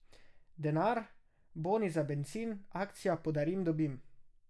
Denar, boni za bencin, akcija Podarim dobim.